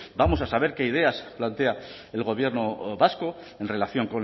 vamos a saber qué ideas plantea el gobierno vasco en relación